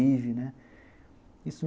Isso